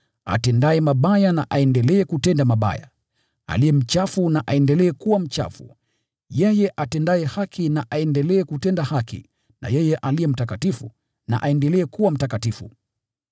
Atendaye mabaya na aendelee kutenda mabaya, aliye mchafu na aendelee kuwa mchafu, yeye atendaye haki na aendelee kutenda haki, na yeye aliye mtakatifu na aendelee kuwa mtakatifu.”